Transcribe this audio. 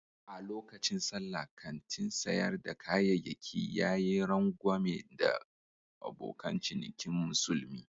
A lokacin Sallah, kantin sayar da kayayyaki ya yi rangwame ga abokan cinikin musulmi.